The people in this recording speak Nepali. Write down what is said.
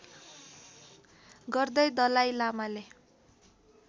गर्दै दलाइ लामाले